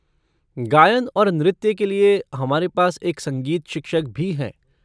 गायन और नृत्य के लिए, हमारे पास एक संगीत शिक्षक भी हैं।